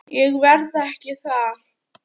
Ég verð ekki þar.